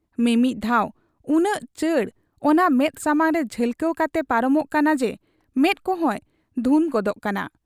ᱢᱤᱢᱤᱫ ᱫᱷᱟᱣ ᱩᱱᱟᱹᱜ ᱪᱟᱸᱰ ᱚᱱᱟ ᱢᱮᱫ ᱥᱟᱢᱟᱝᱨᱮ ᱡᱷᱟᱞᱠᱟᱣ ᱠᱟᱛᱮ ᱯᱟᱨᱚᱢᱚᱜ ᱠᱟᱱᱟᱡᱮ ᱢᱮᱫ ᱠᱚᱦᱚᱸᱭ ᱫᱷᱩᱸᱫᱽ ᱜᱚᱫᱮᱜ ᱟ ᱾